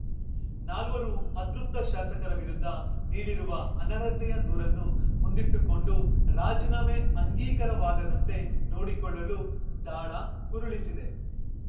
ನಾಲ್ವರು ಅತೃಪ್ತ ಶಾಸಕರ ವಿರುದ್ಧ ನೀಡಿರುವ ಅನರ್ಹತೆಯ ದೂರನ್ನು ಮುಂದಿಟ್ಟುಕೊಂಡು ರಾಜೀನಾಮೆ ಅಂಗೀಕಾರವಾಗದಂತೆ ನೋಡಿಕೊಳ್ಳಲು ದಾಳ ಉರುಳಿಸಿದೆ